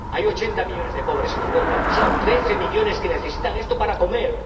Hay ochenta millones de pobres en Europa, pero son trece millones los que necesitan esto para comer.